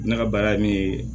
Ne ka baara ye min ye